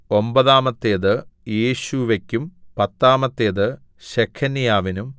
ഒമ്പതാമത്തേത് യേശൂവെക്കും പത്താമത്തേത് ശെഖന്യാവിനും